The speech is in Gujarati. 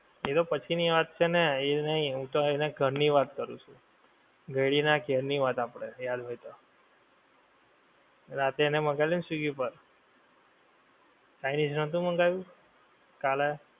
એ તો પછી ની વાત છે ને ઈ નહિ, હું તો એનાં ઘર ની વાત કરું છું. ઘયડીનાં ઘેર ની વાત આપડે યાદ હોય તો. રાતે મંગાવેલું ને સ્વીગી પર, ચાઇનિજ નોતું મંગાવ્યું? કાલા એ